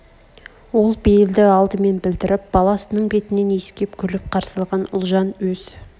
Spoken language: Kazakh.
ол бейлді алдымен білдірп баласының бетінен иіскеп күліп қарсы алған ұлжан өз